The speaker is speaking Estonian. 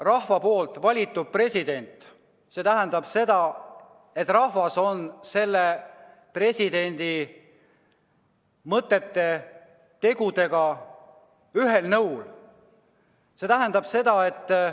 Rahva valitud president tähendab seda, et rahvas on selle presidendi mõtete ja tegudega nõus.